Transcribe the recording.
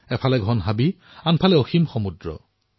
এফালে ঘন জংগল আৰু এফালে বিশাল সমুদ্ৰ